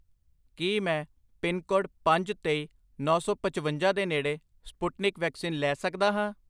ਕੀ ਮੈਂ ਪਿਨਕੋਡ ਪੰਜ, ਤੇਈ, ਨੌ ਸੌ ਪਚਵੰਜਾ ਦੇ ਨੇੜੇ ਸਪੁਟਨਿਕ ਵੈਕਸੀਨ ਲੈ ਸਕਦਾ ਹਾਂ?